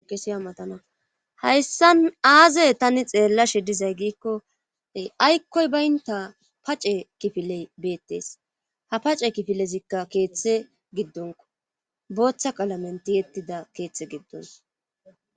Kesiya matana hayssa aazey tani xeellashidizay giikkoy aykkoy baynta pace kifiley beettes ha pace kifilezikka keeththe giddonko booththa qalamenti yettida keeththe giddons